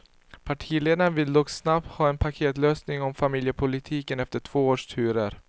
Partiledarna vill dock snabbt ha en paketlösning om familjepolitiken, efter två års turer.